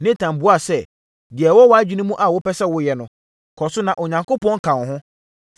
Natan buaa sɛ, “Deɛ ɛwɔ wʼadwene mu a wopɛ sɛ woyɛ no, kɔ so na Onyankopɔn ka wo ho.”